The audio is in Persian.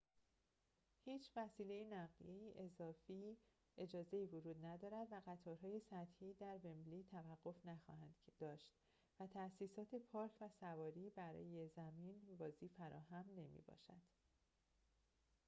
هیچ وسیله نقلیه‌ای اضافی اجازه ورود ندارد و قطارهای سطحی در ومبلی توقف نخواهند داشت و تأسیسات پارک و سواری برای زمین بازی فراهم نمی‌باشد